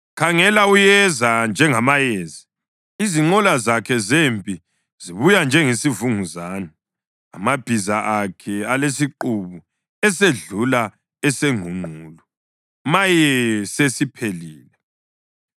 Khangela! Uyeza njengamayezi, izinqola zakhe zempi zibuya njengesivunguzane, amabhiza akhe alesiqubu esedlula esengqungqulu. Maye! Sesiphelile!